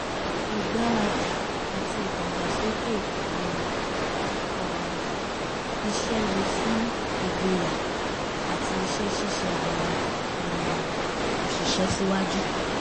ìgbáradì àti ìdàgbàsókè um iṣẹ́ lè sún ìgboyà àti iṣẹ́ ṣíṣe àwọn um òṣìṣẹ́ síwájú